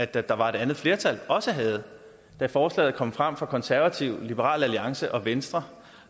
der var et andet flertal også havde da forslaget kom frem fra konservative liberal alliance og venstre